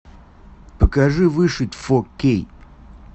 покажи выжить фо кей